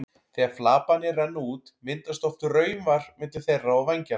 Þegar flaparnir renna út myndast oft raufar milli þeirra og vængjanna.